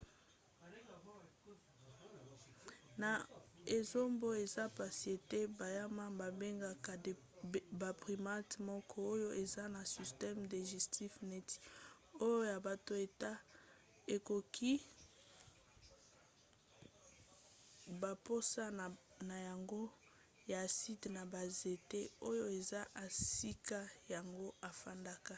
na esobe eza mpasi ete banyama babengaka baprimate moko oyo eza na système digestif neti oyo ya bato ete ekokisi bamposa na yango ya aside na banzete oyo eza esika yango efandaka